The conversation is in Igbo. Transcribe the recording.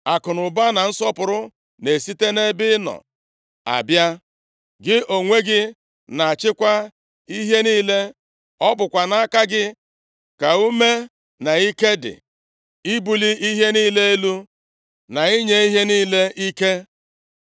Akụnụba na nsọpụrụ na-esite nʼebe ị nọ abịa. Gị onwe gị na-achịkwa ihe niile. Ọ bụkwa nʼaka gị ka ume na ike dị ibuli ihe niile elu, na inye ihe niile ike.